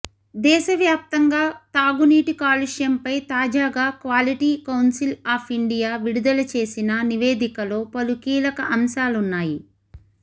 దేశవ్యాప్తంగా తాగునీటి కాలుష్యంపై తాజాగా క్వాలిటీ కౌన్సిల్ ఆఫ్ ఇండియా విడుదల చేసిన నివేదికలో పలు కీలక అంశాలున్నాయి